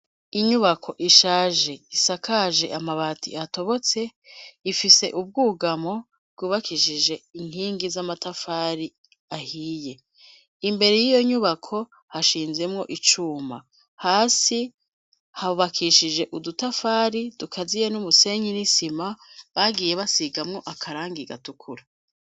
Inyubako ishaje isakaje amabati atobotse ifise ubwugamo bwubakishije inkingi z'amatafari ahiye imbere yiyo nyubako hashinzemwo icuma, hasi hubakishije udutafari dukaziye n'umusenyi n'isima bagiye basigamwo akarangi gatukura.